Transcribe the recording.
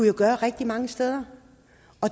jo gøre rigtig mange steder